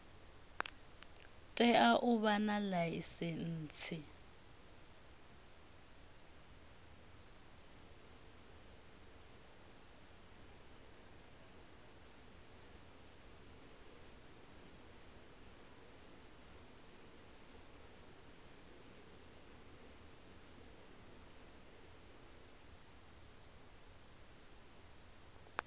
tea u vha na ḽaisentsi